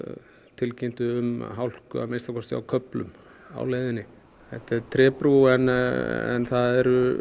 tilkynntu um hálku að minnsta kosti á köflum á leiðinni þetta er trébrú en það eru